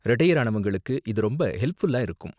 Retire ஆனவங்களுக்கு இது ரொம்ப ஹெல்ப்ஃபுல்லா இருக்கும்.